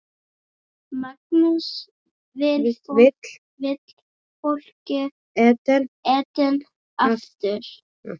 Magnús: Vill fólk Eden aftur?